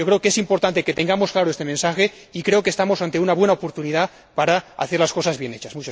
Creo que es importante que tengamos claro este mensaje y pienso que estamos ante una buena oportunidad para hacer las cosas bien hechas.